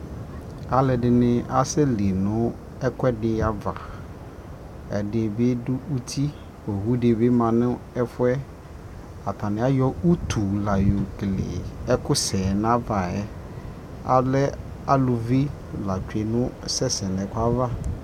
Alʋɔdι nι asɛli nʋ ɛkuɛdι ava Ɛdι bι dʋ uti, owu ma nʋ ɛfuɛ Atani ayɔ utu la yokele ɛkʋ sɛ nʋ ava yɛ Alɛ alʋvi la tsue nʋ asɛsɛ nʋ ɛkʋ yɛ ava